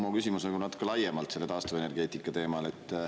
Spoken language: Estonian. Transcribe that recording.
Mu küsimus on ka natuke laiemalt taastuvenergeetika teemal.